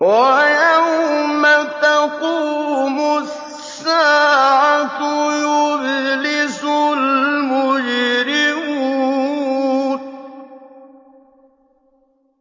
وَيَوْمَ تَقُومُ السَّاعَةُ يُبْلِسُ الْمُجْرِمُونَ